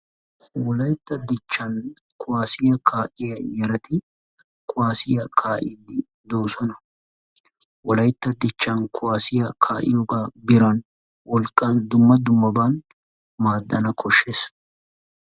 Wolaytta dichchan kuwaasiya kaa'iya yarati kuwaassiya kaa'iidi de'oosona. Wolaytta dichchan kuwaasiya kaiyogaa eran, wolqqan, dumma dummabban maaddana koshshees.